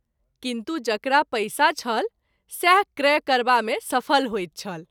किन्तु जकरा पैसा छल सएह क्रय करबा मे सफल होइत छल।